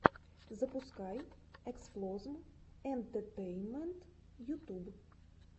запускай эксплозм энтетейнмент ютуб